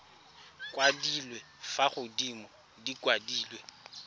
kwadilwe fa godimo di kwadilwe